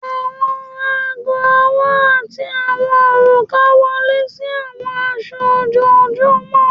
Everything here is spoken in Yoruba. Awọn aago ọwọ ati awọn oruka wọle si awọn aṣọ ojoojumọ